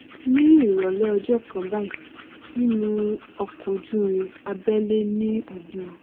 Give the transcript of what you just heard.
ní ìrọlẹ ọjọ kan báyìí nínú ọkọojúurin abẹlẹ ní ìlú